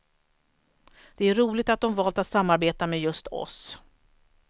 Det är roligt att de valt att samarbeta med just oss.